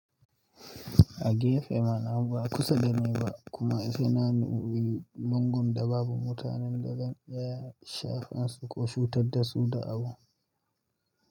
A gefe mana ba kusa da ni ba kuma ina nan a wurin lungun da babu mutanen da kan iya shafa su ko cutar da su da abu.